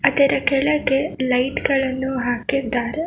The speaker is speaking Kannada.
ಇದರ ಕೆಳಗೆ ಲೈಟ್ ಗಳನ್ನು ಹಾಕಿದ್ದಾರೆ.